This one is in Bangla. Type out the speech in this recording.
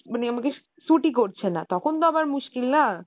মানে আমাকে আমাকে suit ই করছে না , তখন তো আবার মুশকিল, না?